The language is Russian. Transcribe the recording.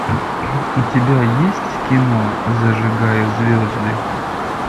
у тебя есть кино зажигая звезды